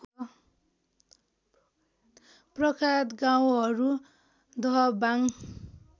प्रख्यात गाउँहरू दहबाङ